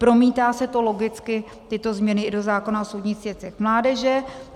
Promítá se to logicky, tyto změny, i do zákona o soudních věcech mládeže.